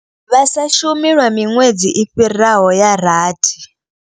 Vha sa shumi lwa miṅwedzi i fhiraho ya rathi.